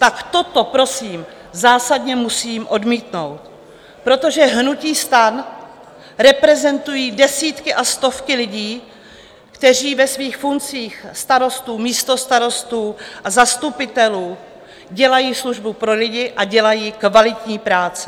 Tak toto prosím zásadně musím odmítnout, protože hnutí STAN reprezentují desítky a stovky lidí, kteří ve svých funkcí starostů, místostarostů a zastupitelů dělají službu pro lidi a dělají kvalitní práci.